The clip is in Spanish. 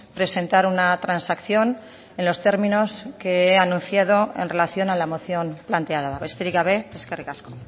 presentar una transacción en los términos que he anunciado en relación a la moción planteada besterik gabe eskerrik asko